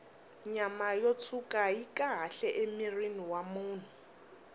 nyama yo tshwuka yi kahle emirhini wa munhu